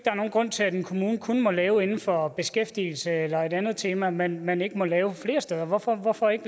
er nogen grund til at en kommune kun må lave noget inden for beskæftigelse eller et andet tema men at man ikke må lave det flere steder hvorfor hvorfor ikke